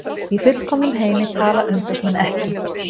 Í fullkomnum heimi tala umboðsmenn ekki